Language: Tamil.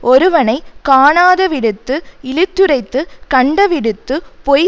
ஒருவனை காணாத விடத்து இழித்துரைத்துக் கண்டவிடத்துப் பொய்